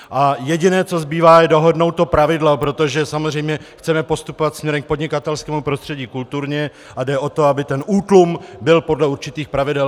A jediné, co zbývá, je dohodnout to pravidlo, protože samozřejmě chceme postupovat směrem k podnikatelskému prostředí kulturně, a jde o to, aby ten útlum byl podle určitých pravidel.